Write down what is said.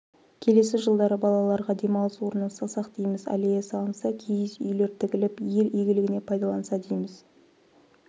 келесі жылдары балаларға демалыс орнын салсақ дейміз аллея салынса киіз үйлер тігіліп ел игілігіне пайдаланса дейміз